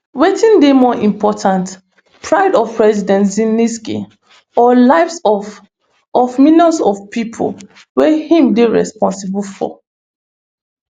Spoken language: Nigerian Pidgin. wetin dey more important pride of president zelensky or lives of of millions of pipo wey im dey responsible for